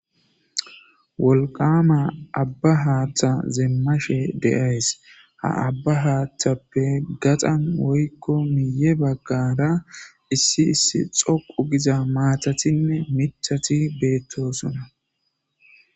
Wolqama abba haaththa demmashe de'ays; ha abba haaththape gaxan woykko miyye bagaara issi issi xoqqu giza maatatinne miththati beetosona.